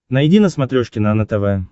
найди на смотрешке нано тв